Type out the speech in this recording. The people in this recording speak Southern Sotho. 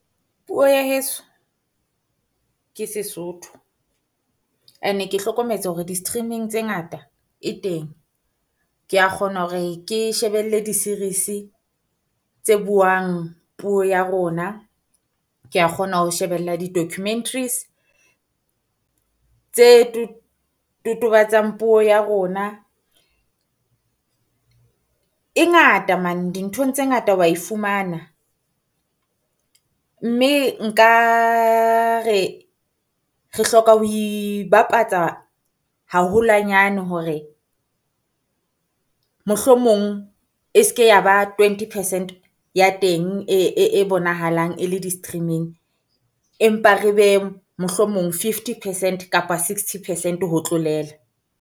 Puo ya heso ke Sesotho, And-e ke hlokometse hore di-streaming tse ngata e teng. Kea kgona hore ke shebelle di-series tse buang puo ya rona, kea kgona ho shebella di-documentaries tse totobatsa puo ya rona. E ngata man dinthong tse ngata wa e fumana, mme nka re re hloka ho ibapatsa haholwanyane hore, mohlomong e se ke ya ba twenty percent ya teng e bonahalang e le di-stream-ing empa re be mohlomong fifty percent kapa sixty percent ho tlolela.